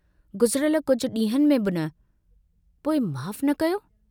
गुज़िरयल कुझ डींहंनि में बि न... पोइ माफ़ न कयो?